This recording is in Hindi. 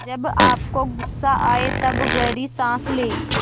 जब आपको गुस्सा आए तब गहरी सांस लें